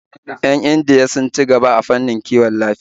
Yan Indiya sun ci gaba a fannin kiwon lafiya